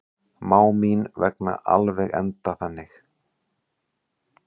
Má mín vegna alveg enda þannig.